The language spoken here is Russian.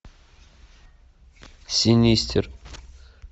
синистер